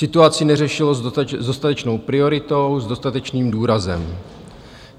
Situaci neřešilo s dostatečnou prioritou, s dostatečným důrazem.